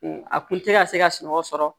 A kun tɛ ka se ka sunɔgɔ sɔrɔ